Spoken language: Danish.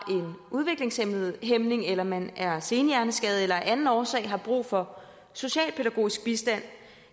udviklingshæmning eller man er senhjerneskadet eller af anden årsag har brug for socialpædagogisk bistand